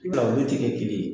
ti kɛ kelen ye.